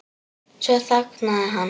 Svo þagnaði hann.